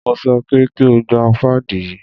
Mo sọ pé kí o gba páàdì yí!